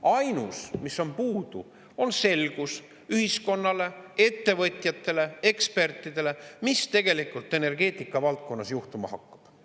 Ainus, mis on puudu, on selgus ühiskonnale, ettevõtjatele, ekspertidele, mis tegelikult energeetika valdkonnas juhtuma hakkab.